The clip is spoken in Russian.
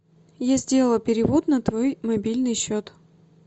я сделала перевод на твой мобильный счет